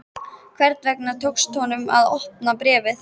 Einhvern veginn tókst honum að opna bréfið.